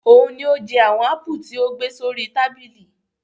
Òun ni ó jẹ àwọn ápù tí o gbé sí orí tábìlì.